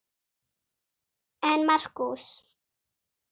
En Markús